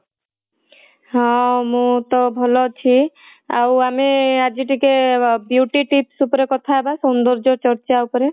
ହଁ ମୁଁ ତ ଭଲ ଅଛି ଆଉ ଆମେ ଆଜି ଟିକେ beauty tips ଉପରେ କଥା ହେବା ସୌନ୍ଦର୍ଯ୍ୟ ଚର୍ଚ୍ଚା ଉପରେ